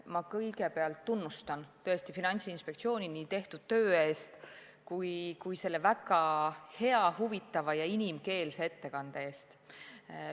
Ma kõigepealt tunnustan Finantsinspektsiooni nii tehtud töö eest kui ka selle väga hea, huvitava ja inimkeelse ettekande eest!